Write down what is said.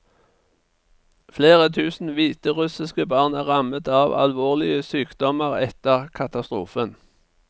Flere tusen hviterussiske barn er rammet av alvorlige sykdommeretter katastrofen.